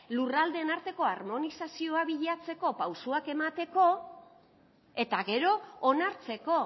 lurraldeen arteko harmonizazioa bilatzeko pausoak emateko eta gero onartzeko